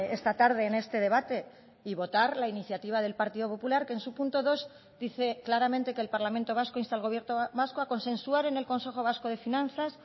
esta tarde en este debate y votar la iniciativa del partido popular que en su punto dos dice claramente que el parlamento vasco insta al gobierno vasco a consensuar en el consejo vasco de finanzas